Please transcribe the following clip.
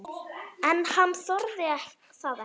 En hann þorði það ekki.